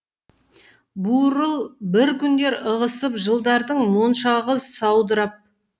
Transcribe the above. буырыл бір күндер ығысып жылдардың моншағы саудырап